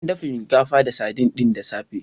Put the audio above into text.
An dafa shinkafa da sardin ɗin da safe.